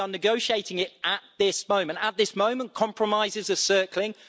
We are negotiating it at this moment. At this moment compromises are circling.